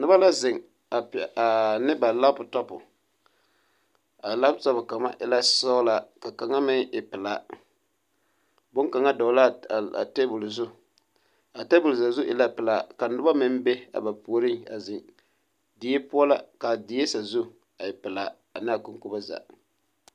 Noba la zeŋ ane ba laputɔpu a laputɔpu kaŋa e la sɔɡelaa ka kaŋa meŋ e pelaa bone kaŋa dɔɔle la a teebuli zu a teebuli sazu e la pelaa ka noba mine meŋ be a ba puoriŋ a zeŋ die poɔ la ka a die sazu e pelaa ane a koŋkobo zaa.